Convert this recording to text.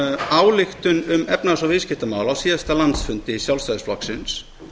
ályktun um efnahags og viðskiptamál á síðasta landsfundi sjálfstæðisflokksins